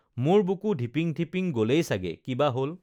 মোৰ বুকু ঢিপিং ঢিপিং গলেই ছাগে কি বা হল